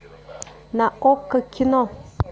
на окко кино